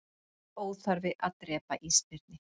Það er óþarfi að drepa ísbirni